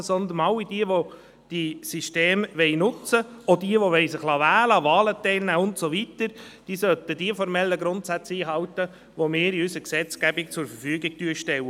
Vielmehr sollen all jene, die diese Systeme nutzen wollen, auch diejenigen, die sich wählen lassen wollen, die formellen Grundsätze einhalten, die wir in unserer Gesetzgebung zur Verfügung stellen.